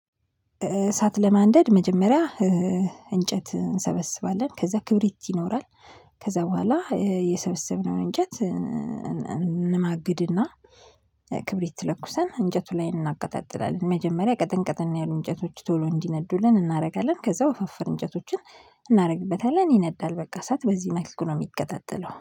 እሳት ለማንደድ መጀመሪያ እንጨት እንሰበስባለን ከዛ ክብሪት ይኖራል ከዛ በኋላ የሰበሰብነውን እንጨት እንማግድና ክብሪት ለኩሰን እንጨቱ ላይ እናቀጣጥላለን መጀመሪያ ቀጠንቀጠን ያሉ እንጨቶች ቶሎ እንዲነዱልን እናደርጋለን። ከዛ ወፈፍራም እንጨቶችን እናደርግበታለን ይነዳል በቃ እሳት በዚህ መልኩ ነው የሚቀጣጠለው፤